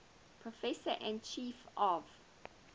professor and chief of